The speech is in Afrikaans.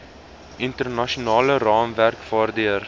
internasionale raamwerke waardeur